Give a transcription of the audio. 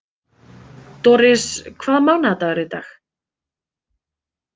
Doris, hvaða mánaðardagur er í dag?